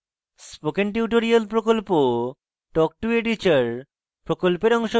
spoken tutorial প্রকল্প talk to a teacher প্রকল্পের অংশবিশেষ